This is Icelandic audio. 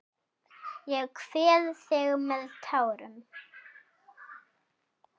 Ég kveð þig með tárum.